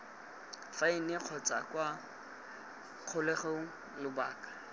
faene kgotsa kwa kgolegelong lobaka